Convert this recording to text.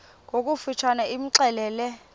ngokofu tshane imxelele